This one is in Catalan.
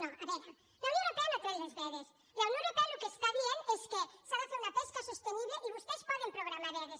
no a veure la unió europea no ha tret les vedes la unió europea el que està dient és que s’ha de fer una pesca sostenible i vostès poden programar vedes